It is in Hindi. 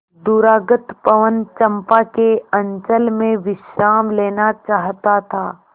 दूरागत पवन चंपा के अंचल में विश्राम लेना चाहता था